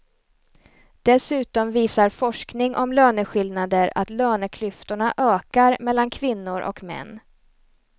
Dessutom visar forskning om löneskillnader att löneklyftorna ökar mellan kvinnor och män.